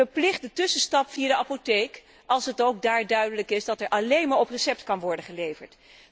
Verplicht de tussenstap via de apotheek als het ook daar duidelijk is dat er alleen maar op recept kan worden geleverd.